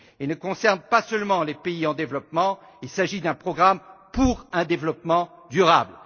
Il ne concerne pas seulement les pays en développement, il s'agit d'un programme pour un développement durable.